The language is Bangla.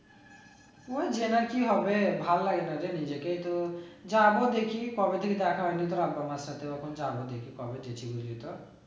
ওই জেনে আর কি হবে ভাল লাগে না রে নিজেকে তো, যাবো দেখি কবে থেকে দেখা হয়ে নি এখন যাবো দেখি কবে